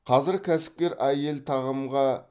қазір кәсіпкер әйел тағамға